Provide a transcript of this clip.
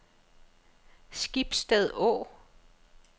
Skibsted Å